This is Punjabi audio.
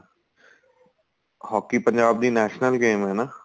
hockey ਪੰਜਾਬ ਦੀ national game ਏ ਨਾ